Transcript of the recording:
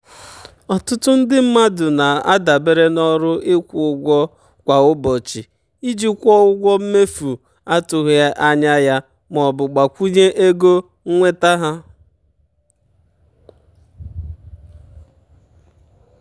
ọtụtụ ndị mmadụ na-adabere na ọrụ ịkwụ ụgwọ kwa ụbọchị iji kwụọ ụgwọ mmefu um atụghị anya ya maọbụ gbakwunye ego um nnweta ha.